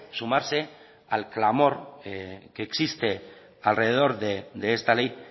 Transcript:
sumarse al clamor que existe alrededor de esta ley